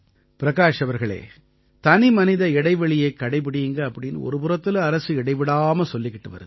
பிரகாஷ் அவர்களே தனிமனித இடைவெளியைக் கடைப்பிடியுங்க அப்படீன்னு ஒருபுறத்தில அரசு இடைவிடாம சொல்லிட்டு வருது